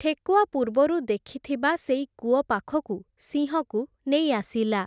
ଠେକୁଆ ପୂର୍ବରୁ ଦେଖିଥିବା ସେଇ କୂଅ ପାଖକୁ, ସିଂହକୁ ନେଇ ଆସିଲା ।